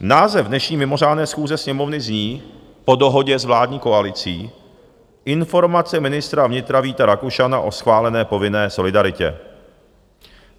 Název dnešní mimořádné schůze Sněmovny zní, po dohodě s vládní koalicí: Informace ministra vnitra Víta Rakušana o schválené povinné solidaritě.